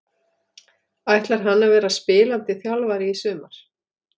Ætlar hann að vera spilandi þjálfari í sumar?